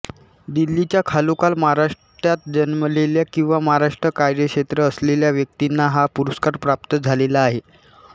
दिल्लीच्या खालोखाल महाराष्ट्रात जन्मलेल्या किंवा महाराष्ट्र कार्यक्षेत्र असलेल्या व्यक्तींना हा पुरस्कार प्राप्त झालेला आहे